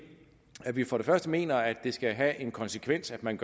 vi for det første mener at det skal have en konsekvens at man